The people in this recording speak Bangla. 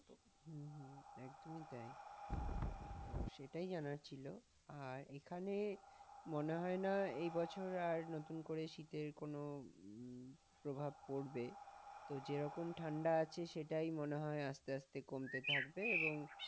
সেটাই জানার ছিল, আর এখানে মনেহয় না আর এবছর নতুন করে শীতের কোন প্রভাব পড়বে, যে রকম ঠান্ডা আছে সেটাই মনে হয় আস্তে আস্তে কমতে থাকবে এবং